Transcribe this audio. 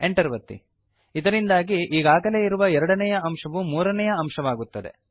Enter ಒತ್ತಿ ಇದರಿಂದಾಗಿ ಈಗಾಗಲೇ ಇರುವ ಎರಡನೇಯ ಅಂಶವು ಮೂರನೇಯ ಅಂಶವಾಗುತ್ತದೆ